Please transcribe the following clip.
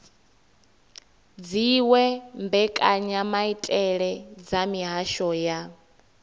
dziwe mbekanyamaitele dza mihasho ya